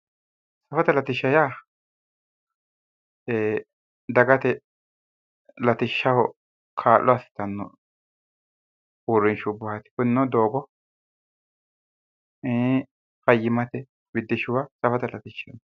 Safote latishsha yaa dagate latishshaho kaa'lo assitanno uurrinshubbaati. Kunino doogo fayyimmate biddishshuwa safote latishshaati.